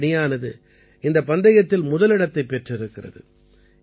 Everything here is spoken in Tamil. இந்திய அணியானது இந்தப் பந்தயத்தில் முதலிடத்தைப் பெற்றிருக்கிறது